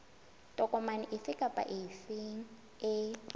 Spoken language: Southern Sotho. tokomane efe kapa efe e